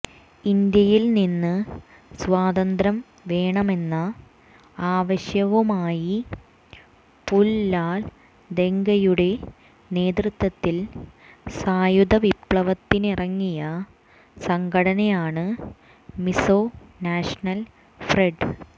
ഇന്ത്യയിൽ നിന്ന് സ്വാതന്ത്ര്യം വേണമെന്ന ആവശ്യവുമായി പു ലാൽദെങ്കയുടെ നേതൃത്വത്തിൽ സായുധ വിപ്ലവത്തിനറങ്ങിയ സംഘടനയാണ് മിസോ നാഷണൽ ഫ്രണ്ട്